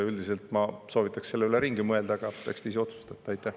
Üldiselt ma soovitaks selle ringi mõelda, aga eks te ise otsustate.